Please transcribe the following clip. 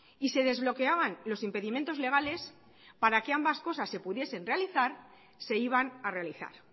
y se desbloqueaban los impedimentos legales para que ambas cosas se pudiesen realizar se iban a realizar